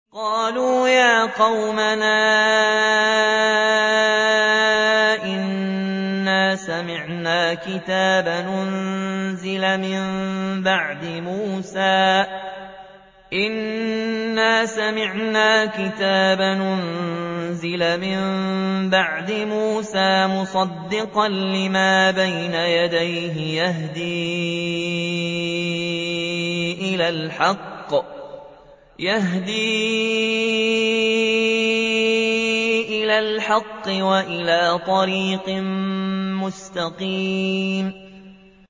قَالُوا يَا قَوْمَنَا إِنَّا سَمِعْنَا كِتَابًا أُنزِلَ مِن بَعْدِ مُوسَىٰ مُصَدِّقًا لِّمَا بَيْنَ يَدَيْهِ يَهْدِي إِلَى الْحَقِّ وَإِلَىٰ طَرِيقٍ مُّسْتَقِيمٍ